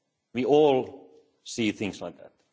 that we all see things like